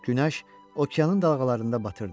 Günəş okeanın dalğalarında batırdı.